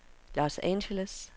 Los Angeles